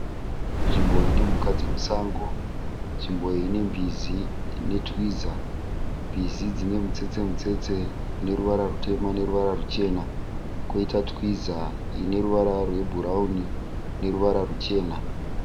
Nzvimbo iyi inemhuka dzemusango, nzvimbo iyi ine mbizi netwiza, mbizi dzine mitsetse mitsetse neruvara rwutema neruvara rwuchena, koita twiza inoruvara rwebhurauni neruvara rwuchena.